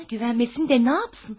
Mənə güvənməsin də nə etsin?